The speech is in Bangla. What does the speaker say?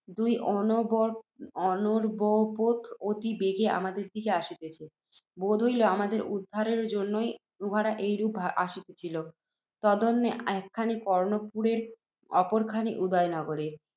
দুই অর্ণবপোত অতি বেগে আমাদের দিকে আসিতেছে। বোধ হইল, আমাদের উদ্ধরণের জন্যই উহারা ঐ রূপে আসিতেছিল। তন্মধ্যে একখানি কর্ণপুরের, অপর খানি উদয়নগরের।